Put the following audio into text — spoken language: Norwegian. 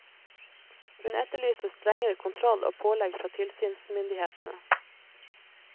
Hun etterlyser strengere kontroll og pålegg fra tilsynsmyndighetene.